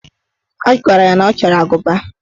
O gwara ya na ọ chọrọ agụba.